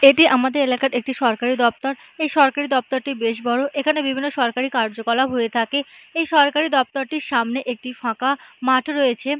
এটি আমাদের এলাকার একটি সরকারি দপ্তর এই সরকারি দপ্তরটি বেশ বড় এখানে বিভিন্ন সরকারি কার্যকলাপ হয়ে থাকে এই সরকারি দপ্তরের সামনে একটি ফাঁকা মাঠ রয়েছে।